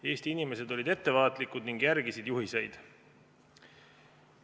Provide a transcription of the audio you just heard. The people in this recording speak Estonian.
Eesti inimesed olid ettevaatlikud ning järgisid juhiseid.